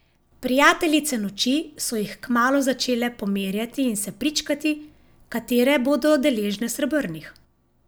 Prijateljice noči so jih kmalu začele pomerjati in se pričkati, katere bodo deležne srebrnih.